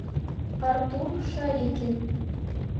артур шарикин